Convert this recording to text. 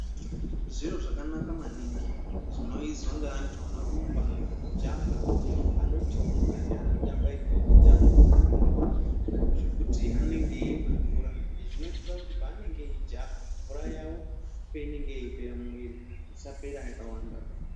Zviro zvakanaka maningi zvinoizwa ngaantu anorumba anojaha anotomuka neanotamba imweni mutambo yakawanda zvekuti anenge eimwe mvura izvi zviboitira kuti paanenge eijaha mvura yawo painenge yeipera mumwiri isapera yakawandaba.